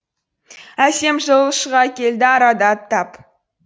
әсем жыл шыға келді арада аттап